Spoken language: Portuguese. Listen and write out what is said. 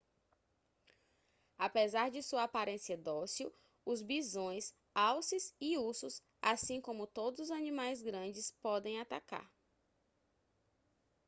apesar de sua aparência dócil os bisões alces e ursos assim como todos os animais grandes podem atacar